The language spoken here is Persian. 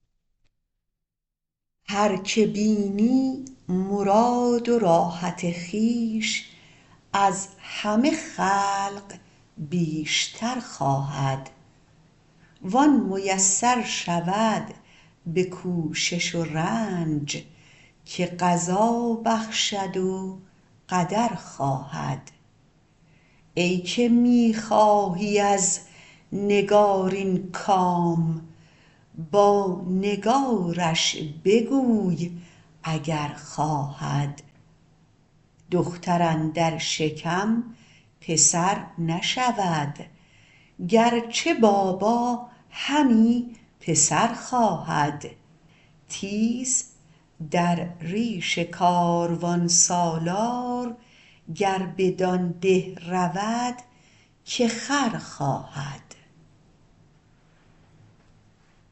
هر که بینی مراد و راحت خویش از همه خلق بیشتر خواهد و آن میسر شود به کوشش و رنج که قضا بخشد و قدر خواهد ای که می خواهی از نگارین کام با نگارش بگوی اگر خواهد دختر اندر شکم پسر نشود گرچه بابا همی پسر خواهد تیز در ریش کاروانسالار گر بدان ده رود که خر خواهد